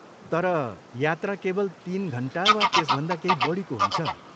तर, यात्रा केवल तिन घन्टा वा त्यसभन्दा केही बढीको हुन्छ।